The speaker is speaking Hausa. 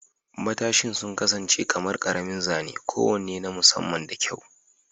Matashin sun kasance kamar ƙaramin zane kowane na musamman da kyau.